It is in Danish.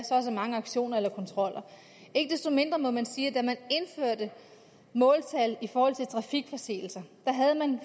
så og så mange aktioner eller kontroller ikke desto mindre må man sige at da man indførte måltal i forhold til trafikforseelser havde man